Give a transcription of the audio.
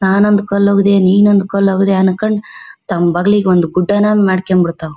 ನಾನೊಂದ್ ಕಲ್ ಒಗದೆ ನಿನ್ ಒಂದ್ ಕಲ್ಒಗದೆ ಅನ್ಕೊಂಡ್ ತಾಂಬ್ ಬಗಲಿಗೊಂದು ಗುಡ್ಡಾನೆ ಮಾಡ್ಕೊಂಬಿಡ್ತಾವೆ.